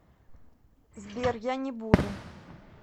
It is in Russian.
сбер я не буду